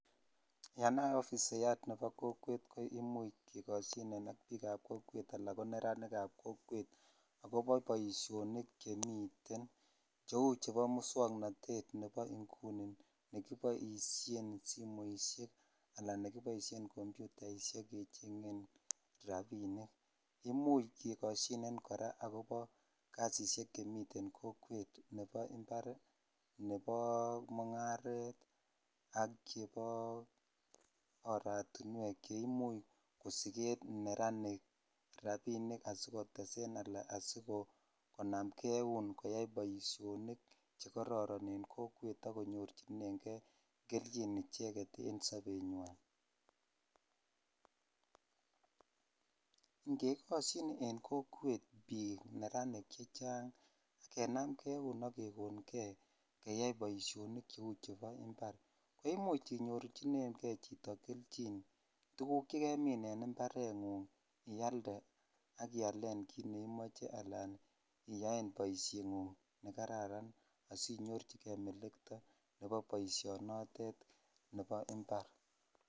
Yonafisiyat nebo kokwet koimuch kekosyinen ak biikab kokwet ana ko neratinikab kokwet agobo boisionik chemiten cheu chebo muswoknatet nebo inguni nekiboisien simoinik anan nekiboisien komputainik kechengen rapinik. Imuch kekosyinen kora agoba kasisiek che miten kokwet nebo imbar, nebo mungaret ak chebo oratinwek cheimuch kosigen neranik rapinik asikotesen anan asikonamnge eun koyai boisionik chekororon en kokwet ak konyorchinenge keljin icheget en sobenywan. Ngekosyin en kokwet biik neranik chechang, kenamnge eun ak kekonge keyai boisionik cheu chebo imbar, koimuch inyorchinenge chito keljin tuguk chekemin en imbarengung ialde ak ialen kit ne imoche anan iyaen boisiengung nekararan asinyorchike melekto nebo boisionotet nebo imbar.